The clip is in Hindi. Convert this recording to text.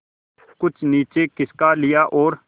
कुछ नीचे खिसका लिया और